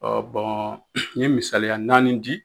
Ɔ bɔn n ye misaliya naani di